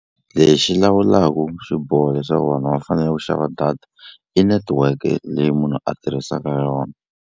Lexi lawulaku swiboho leswaku vanhu va fanele ku xava data i netiweke leyi munhu a tirhisaka yona.